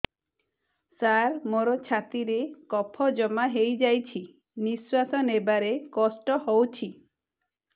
ସାର ମୋର ଛାତି ରେ କଫ ଜମା ହେଇଯାଇଛି ନିଶ୍ୱାସ ନେବାରେ କଷ୍ଟ ହଉଛି